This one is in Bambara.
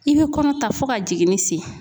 I be kɔnɔ ta fo ka jiginni se